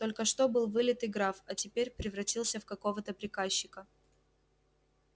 только что был вылитый граф а теперь превратился в какого-то приказчика